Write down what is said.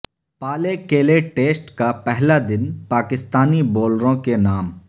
Pallekele test کا پہلا دن پاکستانی بولروں کے نام